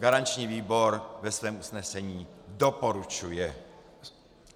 Garanční výbor ve svém usnesení doporučuje.